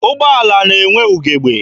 Ụgbọala na-enwe ugebe.